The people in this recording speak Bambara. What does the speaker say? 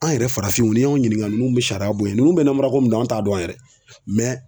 An' yɛrɛ farafinw ni y'anw ɲiniŋa nunnu be sariya boyen nunnu be namara ko mun dɔn an' t'a dɔn yɛrɛ